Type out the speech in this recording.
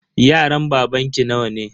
Yaran babanki nawa ne?